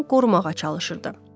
bayquşlardan qorumağa çalışırdı.